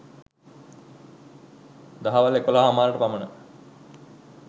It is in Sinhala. දහවල් එකොලහ හමාරට පමණ